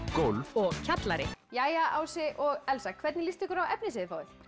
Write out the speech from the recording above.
gólf og kjallari jæja Ási og Elsa hvernig líst ykkur á efnið sem þið fáið